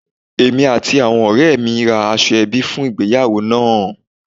Èmi àti àwọn òré mi ra aṣọ ẹbí fun ìgbéyàwó náà àn